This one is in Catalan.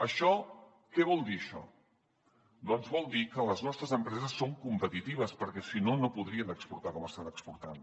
això què vol dir doncs vol dir que les nostres empreses són competitives perquè si no no podrien exportar com estan exportant